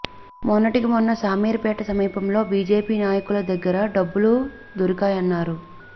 మొన్నటికి మొన్న శామీర్పేట సమీపంలో బీజేపీ నాయకుల దగ్గర డబ్బులు దొరికాయన్నారు